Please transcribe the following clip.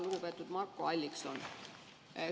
Lugupeetud Marko Allikson!